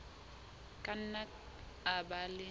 ka nna a ba le